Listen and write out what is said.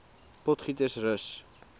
potgietersrus